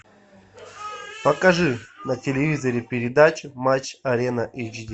покажи на телевизоре передачу матч арена эйч ди